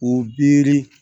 O biri